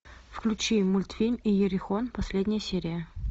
включи мультфильм иерихон последняя серия